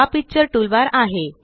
हा picture toolbar आहे